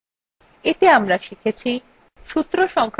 এতে আমরা শিখেছি